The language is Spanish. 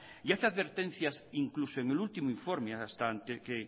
y hace advertencias incluso en el último informe que